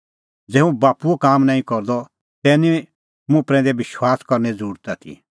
ज़ै हुंह बाप्पूओ काम नांईं करदअ तै निं मुंह प्रैंदै विश्वासा करने ज़रुरत आथी